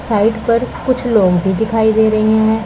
Side पर कुछ लोग भी दिखाई दे रहे है।